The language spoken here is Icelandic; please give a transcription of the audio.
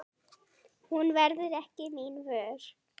Hún verður mín ekki vör.